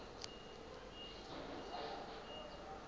enye nenye imoto